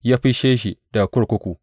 Ya fisshe shi daga kurkuku.